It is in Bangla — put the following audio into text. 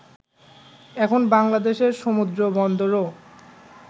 এখন বাংলাদেশের সমুদ্রবন্দরও